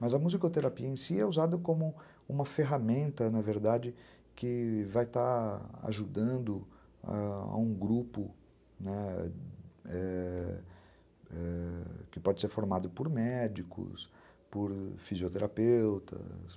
Mas a musicoterapia em si é usada como uma ferramenta, na verdade, que vai estar ajudando a um grupo, né, ãh, ãh, que pode ser formado por médicos, por fisioterapeutas.